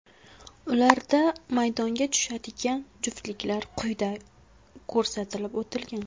Ularda maydonga tushadigan juftliklar quyida ko‘rsatib o‘tilgan.